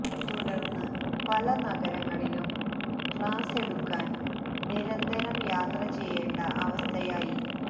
തുടര്ന്ന് പല നഗരങ്ങളിലും ക്ലാസ് എടുക്കാന് നിരന്തരം യാത്ര ചെയ്യേണ്ട അവസ്ഥയായി